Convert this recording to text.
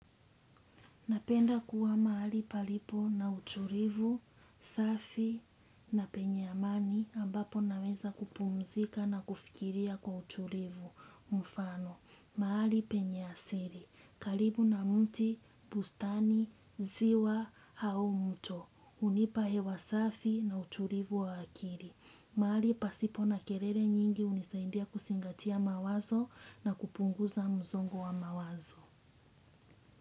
Napenda kuwa mahali palipo na utulivu, safi na penye amani ambapo naweza kupumzika na kufikiria kwa utulivu, mfano. Mahali penye asili, karibu na miti, bustani, ziwa, au mto. Hunipa hewa safi na utulivu wa akili. Mahali pasipo na kelele nyingi, hunisaidia kuzingatia mawazo na kupunguza msongo wa mawazo.